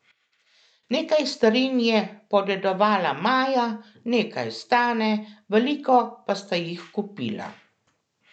Nekaj starin je podedovala Maja, nekaj Stane, veliko pa sta jih kupila.